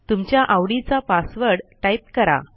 तुमच्या आवडीचा password type करा